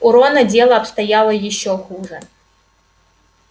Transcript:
у рона дело обстояло ещё хуже